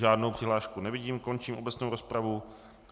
Žádnou přihlášku nevidím, končím obecnou rozpravu.